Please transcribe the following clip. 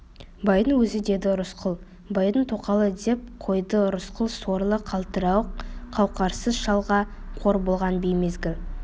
байдың өзі деді рысқұл байдың тоқалы деп қойды рысқұл сорлы қалтырауық қауқарсыз шалға қор болған беймезгіл